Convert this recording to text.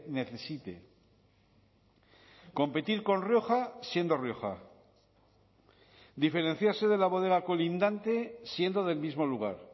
necesite competir con rioja siendo rioja diferenciarse de la bodega colindante siendo del mismo lugar